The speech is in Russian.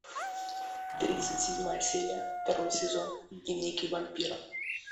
тридцать седьмая серия второй сезон дневники вампира